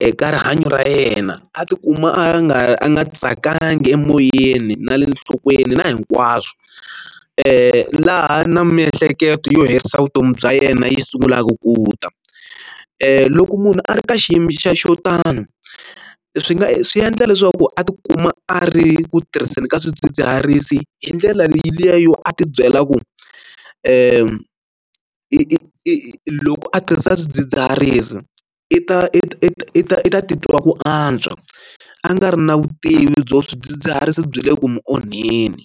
eka rihanyo ra yena a tikuma a nga a nga tsakanga emoyeni na le nhlokweni na hinkwaswo laha na miehleketo yo herisa vutomi bya yena yi sungulaka ku ta loko munhu a ri ka xiyimo xa xo tano swi nga swi endla leswaku a tikuma a ri ku tirhiseni ka swidzidziharisi hi ndlela leyi yo a ti byela ku i i loko a tirhisa swidzidziharisi i ta i ta titwa ku antswa a nga ri na vutivi byo swidzidziharisi byi le ku onheni.